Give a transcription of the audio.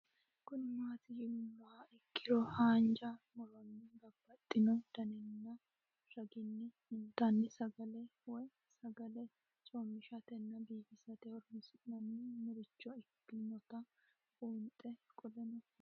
Kuni mati yinumoha ikiro hanja muroni babaxino daninina ragini intani sagale woyi sagali comishatenna bifisate horonsine'morich ikinota bunxana qoleno lame?